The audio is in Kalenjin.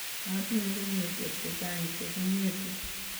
matinye kenyisiek chechang' che king'etu